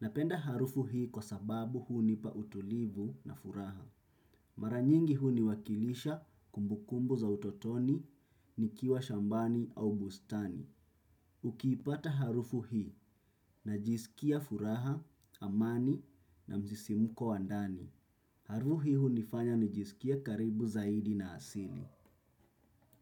Napenda harufu hii kwa sababu hunipa utulivu na furaha. Mara nyingi huniwakilisha kumbukumbu za utotoni, nikiwa shambani au bustani. Ukipata harufu hii najisikia furaha, amani na msisimuko wa ndani. Harufu hii hunifanya nijisikie karibu zaidi na asili.